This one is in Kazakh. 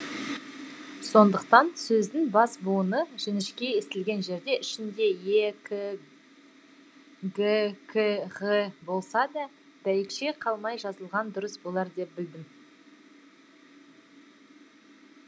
сондықтан сөздің бас буыны жіңішке естілген жерде ішінде е к г к ғ болса да дәйекші қалмай жазылған дұрыс болар деп білдім